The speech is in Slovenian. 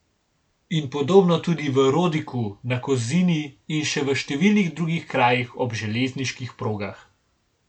In podobno tudi v Rodiku, na Kozini in še v številnih drugih krajih ob železniških progah.